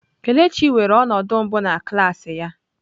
Kelechi weere ọnọdụ mbụ na klas ya.